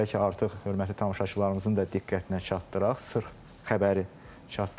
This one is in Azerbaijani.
Belə ki, artıq hörmətli tamaşaçılarımızın da diqqətinə çatdıraq sırx xəbəri çatdırır.